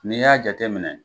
N'i y'a jateminɛ.